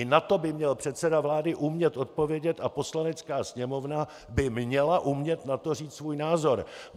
I na to by měl předseda vlády umět odpovědět a Poslanecká sněmovna by měla umět na to říct svůj názor.